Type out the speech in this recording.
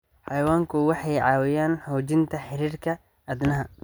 Xayawaanku waxay caawiyaan xoojinta xiriirka aadanaha.